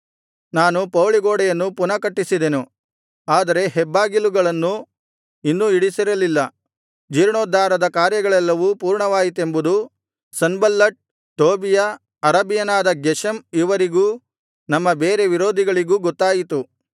ನಾನು ಪೌಳಿಗೋಡೆಯನ್ನು ಪುನಃ ಕಟ್ಟಿಸಿದೆನು ಆದರೆ ಹೆಬ್ಬಾಗಿಲುಗಳನ್ನೂ ಇನ್ನೂ ಇಡಿಸಿರಲಿಲ್ಲ ಜೀರ್ಣೋದ್ಧಾರದ ಕಾರ್ಯಗಳೆಲ್ಲವೂ ಪೂರ್ಣವಾಯಿತೆಂಬುದು ಸನ್ಬಲ್ಲಟ್ ಟೋಬೀಯ ಅರಬಿಯನಾದ ಗೆಷೆಮ್ ಇವರಿಗೂ ನಮ್ಮ ಬೇರೆ ವಿರೋಧಿಗಳಿಗೂ ಗೊತ್ತಾಯಿತು